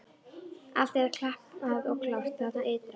Allt er klappað og klárt þarna ytra!